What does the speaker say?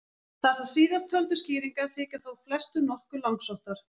Þessar síðasttöldu skýringar þykja þó flestum nokkuð langsóttar.